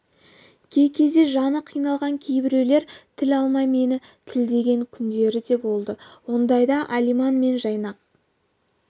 кей кезде жаны қиналған кейбіреулер тіл алмай мені тілдеген күндері де болды ондайда алиман мен жайнақ